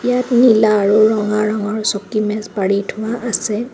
ইয়াত নীলা আৰু ৰঙা ৰঙৰ চকী মেজ পাৰি থোৱা আছে.